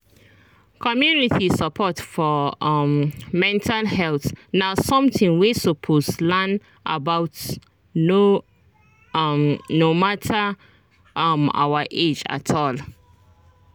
community support for um mental health na something wey we suppose learn about no um matter um our age at all